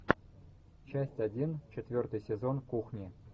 часть один четвертый сезон кухни